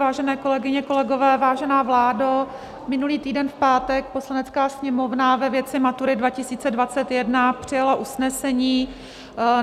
Vážené kolegyně, kolegové, vážená vládo, minulý týden v pátek Poslanecká sněmovna ve věci maturit 2021 přijala usnesení.